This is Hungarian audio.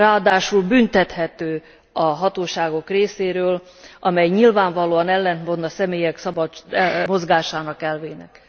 Ráadásul büntethető a hatóságok részéről, amely nyilvánvalóan ellentmond a személyek szabad mozgása elvének.